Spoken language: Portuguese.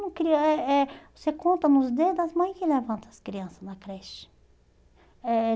você conta nos dedos, as mães que levam as crianças na creche.